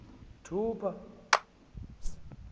thupha